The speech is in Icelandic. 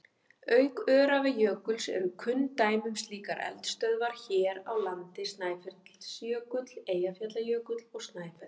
Auk Öræfajökuls eru kunn dæmi um slíkar eldstöðvar hér á landi Snæfellsjökull, Eyjafjallajökull og Snæfell.